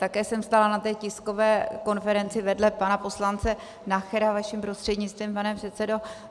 Také jsem stála na té tiskové konferenci vedle pana poslance Nachera, vaším prostřednictvím, pane předsedo.